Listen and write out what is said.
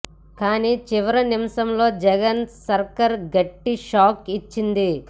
కానీ చివరి నిమిషంలో జగన్ సర్కార్ గట్టి షాక్ ఇచ్చింది